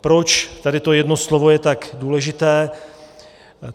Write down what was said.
Proč tady to jedno slovo je tak důležité?